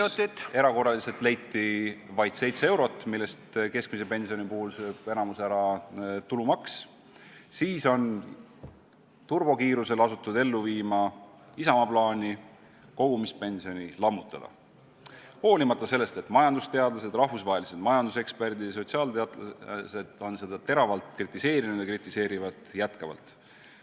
... leiti erakorraliselt vaid 7 eurot, millest keskmise pensioni puhul sööb enamiku ära tulumaks, on turbokiirusel asutud ellu viima Isamaa plaani kogumispension lammutada, hoolimata sellest, et majandusteadlased, rahvusvahelised majanduseksperdid ja sotsiaalteadlased on seda teravalt kritiseerinud ja kritiseerivad jätkuvalt.